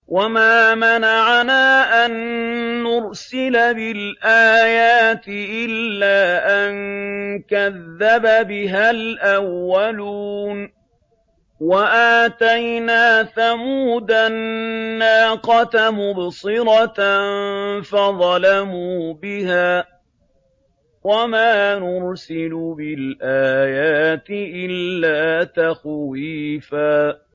وَمَا مَنَعَنَا أَن نُّرْسِلَ بِالْآيَاتِ إِلَّا أَن كَذَّبَ بِهَا الْأَوَّلُونَ ۚ وَآتَيْنَا ثَمُودَ النَّاقَةَ مُبْصِرَةً فَظَلَمُوا بِهَا ۚ وَمَا نُرْسِلُ بِالْآيَاتِ إِلَّا تَخْوِيفًا